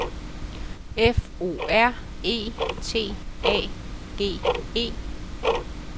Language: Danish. F O R E T A G E